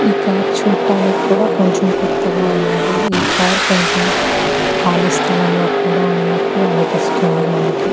ఈ కార్ చూడ్డానికి కూడా కొంచెం కొత్తగా ఉన్నది. ఈ కార్ కొంచెం ఖాళీ స్థలం లో కూడా ఉన్నట్టు అనిపిస్తుంది మనకి.